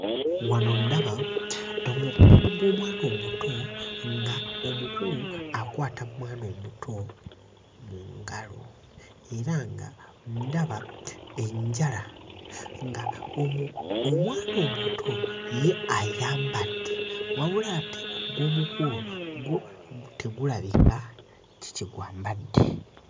Wano ndaba omukono gw'omwana omuto ng'omukulu akwata mwana omuto mu ngalo era nga ndaba enjala nga omu omwana omuto ye ayambadde wabula ate ogw'omukulu gwo tegulabika ki kye gwambadde.